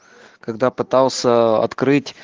когда пытался открыть